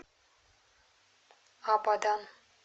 абадан